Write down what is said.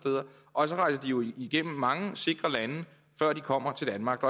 og så rejser jo igennem mange sikre lande før de kommer til danmark